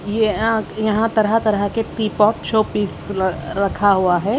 ये यहाँ तरहा तरहा के पीपोट शोपीस रखा हुआ है।